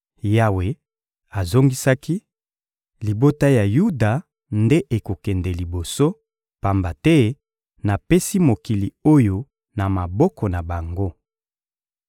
Yawe azongisaki: — Libota ya Yuda nde ekokende liboso, pamba te napesi mokili oyo na maboko na bango.